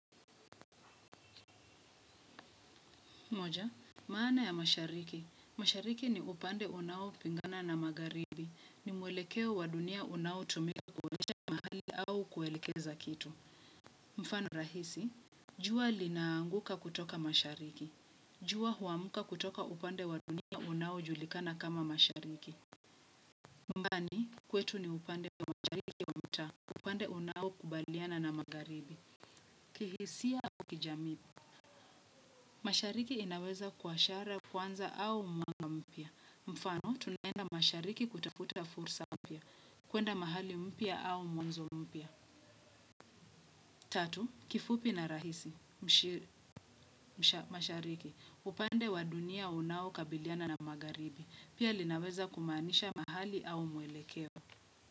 Moja, maana ya mashariki. Mashariki ni upande unaopingana na magharibi. Ni mwelekeo wa dunia unaotumika kuonyesha mahali au kuelekeza kitu. Mfano rahisi. Jua linaanguka kutoka mashariki. Jua huamka kutoka upande wa dunia unaojulikana kama mashariki. Nyumbani kwetu ni upande wa mashariki wa mtaa, upande unaokubaliana na magharibi. Kihisia au kijami. Mashariki inaweza kuwa ishara ya kwanza au mwanga mpya. Mfano, tunaenda mashariki kutakuta fursa mpya, kwenda mahali mpya au mwanzo mpya. Tatu, kifupi na rahisi mashariki, upande wa dunia unaokabiliana na magharibi, pia linaweza kumaanisha mahali au mwelekeo.